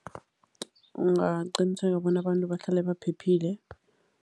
Ungaqiniseka bona abantu bahlale baphephile.